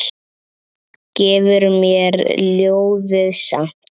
Gefur mér ljóðið samt.